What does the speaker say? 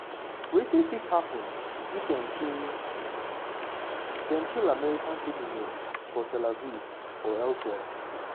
wetin fit happun if dem kill dem kill american citizen for tel aviv or elsewhere?